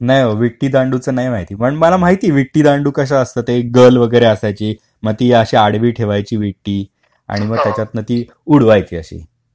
नाही बाबा विटी दांडूचं नाही पण मला माहित विटी दांडू कसा असतं ते एक गर्ल वगैरे असायची मग ती अशी आडवी ठेवायची विटी आणि मग त्याच्यात ना ती अशी उडवायची अशी